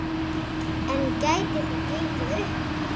En gæti það gengið upp?